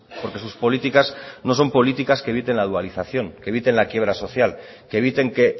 porque sus políticas no son políticas que eviten la dualización eviten la quiebra social que eviten que